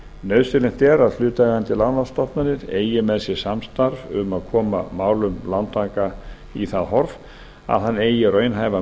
nauðsynlegt er að hlutaðeigandi lánastofnanir eigi með sér samstarf um að koma málum lántaka í það horf að hann eigi raunhæfa